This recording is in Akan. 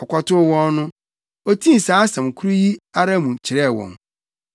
Ɔkɔtoo wɔn no, otii saa asɛm koro yi ara mu kyerɛɛ wɔn.